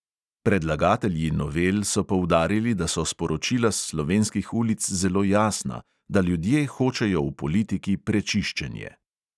Predlagatelji novel so poudarili, da so sporočila s slovenskih ulic zelo jasna, da ljudje hočejo v politiki prečiščenje.